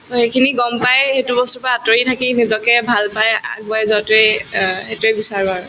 so, সেইখিনি গম পাই সেইটো বস্তুৰ পৰা আতৰি থাকি নিজকে ভাল পাই আগুৱাই যোৱাতোয়ে অ সেইটোয়ে বিচাৰো আৰু